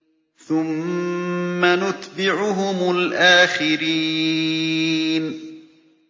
ثُمَّ نُتْبِعُهُمُ الْآخِرِينَ